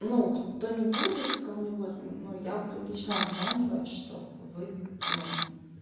ну кто не будет кого-нибудь ну я буду лично обзванивать чтоб вы ну